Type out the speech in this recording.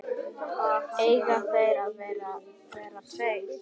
Eiga þeir að vera tveir?